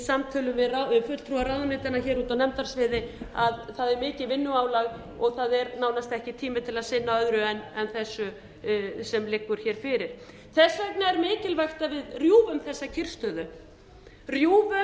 samtölum við fulltrúa ráðuneytanna úti á nefndasviði að það er mikið vinnuálag og það er nánast ekki tími til að sinna öðru en þessu sem liggur hér fyrir þess vegna er mikilvægt að við rjúfum